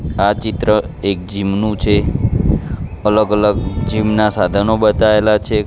આ ચિત્ર એક જીમ નુ છે અલગ અલગ જીમ ના સાધનો બતાઈલા છે.